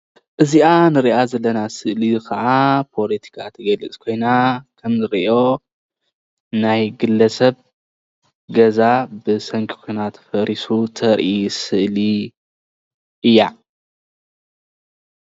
እዚኣ ንሪኣ ዘለና ስእሊ ከኣ ፖለቲካ ትገልጽ ኮይና ከምዝርእዮ ናይ ግለሰብ ገዛ ብሰንኪ ኩናት ፈሪሱ ተርእይ ስእሊ እያ።